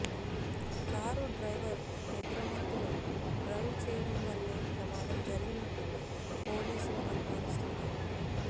car driver నిద్రమత్తులో drive చేయడం వల్లే ప్రమాదం జరిగినట్టు పోలీసులు అనుమానిస్తున్నారు